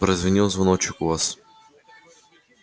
прозвенел звоночек у вас